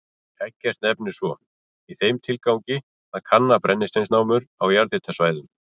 Eggert nefnir svo, í þeim tilgangi að kanna brennisteinsnámur á jarðhitasvæðum.